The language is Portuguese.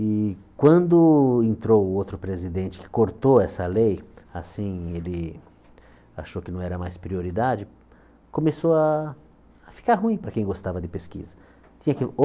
E quando entrou o outro presidente, que cortou essa lei, assim, ele achou que não era mais prioridade, começou a a ficar ruim para quem gostava de pesquisa. Tinha que ou